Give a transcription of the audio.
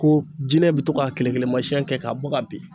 Ko jinɛ bi to ka kele kelemasɛn kɛ k'a bɔ ka bin